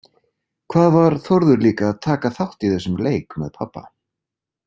Hvað var Þórður líka að taka þátt í þessum leik með pabba?